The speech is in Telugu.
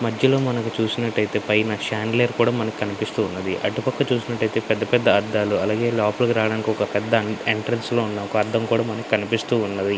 మధ్యలో మనకు చూసినట్టయితేపైన శాండ్వి లైట్ మనకు కనిపిస్తూ ఉన్నవి. అటు పక్క చూసినట్టయితే పెద్ద పెద్ద అద్దాలు అలాగే లోపలికి రావటానికి ఒక పెద్ద ఎంట్రన్స్ లో ఉన్నా అద్దం కూడా మనకు కనిపిస్తూ ఉన్నవి.